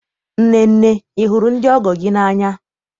Nnenne, ị hụrụ ndị ọgọ gị n'anya?